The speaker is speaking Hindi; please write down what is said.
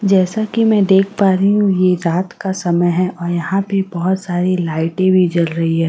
जैसा कि मैं देख पा रही हूं ये रात का समय है और यहां पे बहोत सारी लाइटे भी जल रही है।